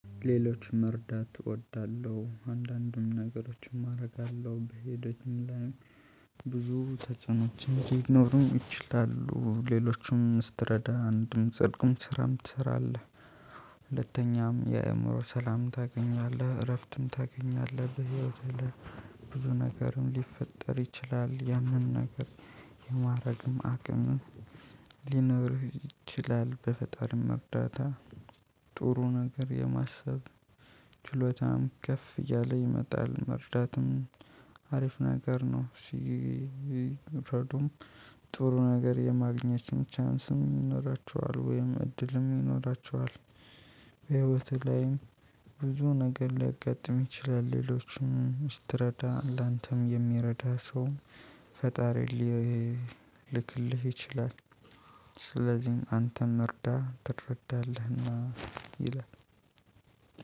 ሌሎች መርዳት እወዳለሁ አንዳንድም ነገሮችም አረጋለሁ በሄደችም ላይ ብዙ ተጽኖችም ሊኖሩ ይችላሉ ሌሎችም ስትረዳ አንድም ጽድቅም ስራም ትሰራለህ። ሁለተኛም የእምሮ ሰላም ታገኛለህ እረፍትም ታገኛለህ በህይወት ላይ ብዙ ነገርም ሊፈጠር ይችላል። ያንን ነገር የማረግም አቅም ሊኖርህ ይችላል። በፈጣሪም እርዳታ ጥሩ ነገር የማሰብ ችሎታም ከፍ እያለ ይመጣል። መርዳትም አሪፍ ነገር ነው። ሲፈርዱም ጥሩ ነገር የማግኘትም ቻንስም ይኖራቸዋል ወይም እድልም ይኖራቸዋል። በህይወትህ ላይም ብዙ ነገር ሊያጋጥም ይችላል። ሌሎችም ስትረዳ ላንተም የሚረዳ ሰው ፈጣሪ ሊልክልህ ይችላል። ስለዚህም አንተም እርዳ ትረዳለህ እና ይላል።